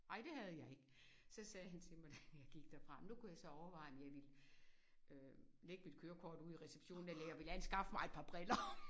Ej det havde jeg ikke. Så sagde han til mig da jeg gik derfra nu kunne jeg så overveje om jeg ville øh lægge mit kørekort ude i receptionen eller jeg ville anskaffe mig et par briller